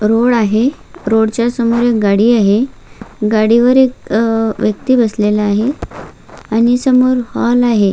Road आहे road च्या समोर एक गाडी आहे गाडीवर एक व्यक्ति बसलेला आहे आणि समोर हॉल आहे.